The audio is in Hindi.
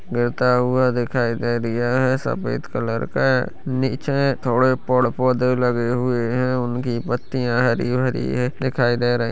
--गिरता हुआ दिखाई दे रहा है सफेद कलर का नीचे थोड़े पैड-पौधे लगे हुए है उनकी पत्तिया हरी-हरी है दिखाई दे रही है।